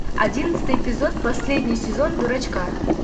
одиннадцатый эпизод последний сезон дурачка